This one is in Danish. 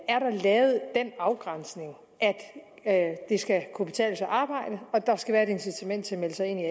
er der lavet den afgrænsning at det skal kunne betale sig at arbejde og der skal være et incitament til at melde sig ind i